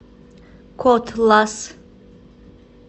котлас